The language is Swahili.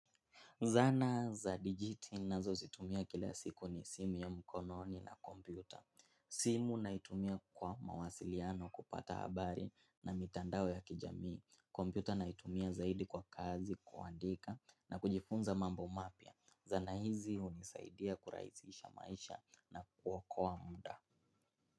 Zana za digiti nazozitumia kila siku ni simu ya mkononi na kompyuta. Simu naitumia kwa mawasiliano kupata habari na mitandao ya kijamii. Kompyuta naitumia zaidi kwa kazi, kuandika na kujifunza mambo mapya. Zana hizi hunisaidia kurahisisha maisha na kuokoa muda.